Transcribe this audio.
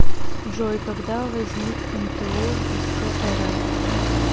джой когда возник мто вс рф